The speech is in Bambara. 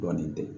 Dɔɔnin tɛ